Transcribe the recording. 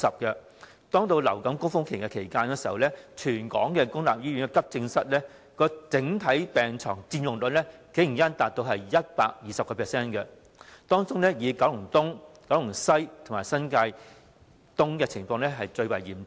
在流感高峰期，全港公立醫院急症室的整體病床佔用率竟然高達 120%， 當中以九龍東、九龍西及新界東的情況最為嚴重。